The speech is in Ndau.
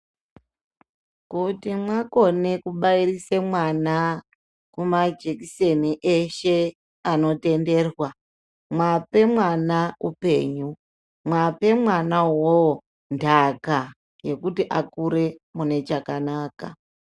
Kuti mwakone kubairise mwana kuma jikiseni eshe anotenderwa mwape mwana upenyu, mwape mwana uwowo ntaka yekuti akure mune chakanaka.